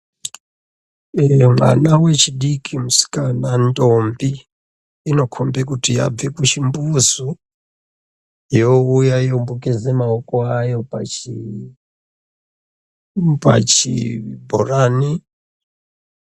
Iyo mwana wechidiki musikana ndombi inokomba kuti yabva kuchimbuzu youya yombogeza maoko ayo pachibhorani.